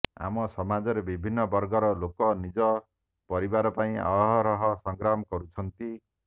ଆମ ସମାଜରେ ବିଭିନ୍ନ ବର୍ଗର ଲୋକ ନିଜ ପରିବାର ପାଇଁ ଅହରହ ସଂଗ୍ରାମ କରୁଛନ୍ତି